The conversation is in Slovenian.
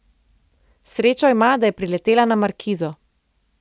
Srečo ima, da je priletela na markizo.